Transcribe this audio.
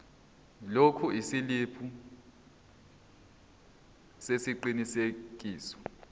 lokhu isiliphi sesiqinisekiso